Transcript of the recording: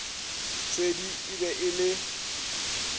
tshwedi e be e le